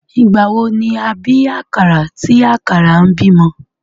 Ìgbà wo ni a bí àkàrà tí àkàrà ń bímọ?